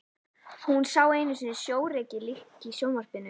Hún sá einu sinni sjórekið lík í sjónvarpi.